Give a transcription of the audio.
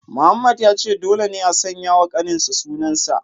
Mohammed ya ce dole ne a sanya wa kaninsa sunan sa